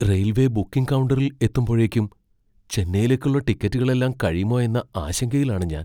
Railway booking കൗണ്ടറിൽ എത്തുമ്പോഴേക്കും ചെന്നൈയിലേക്കുള്ള ടിക്കറ്റുകളെല്ലാം കഴിയുമോയെന്ന ആശങ്കയിലാണ് ഞാൻ.